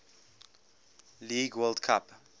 league world cup